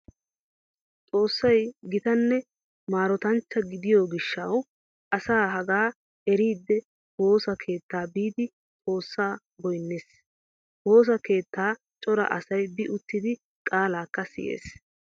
Xoossay gitanne maarotanchcha gidiyo gishshawu asay hagaa eridi woosa keettaa biidi xoossaa goynnees. Woosa keettaa cora asay bi uttidi qaalaakka siyees.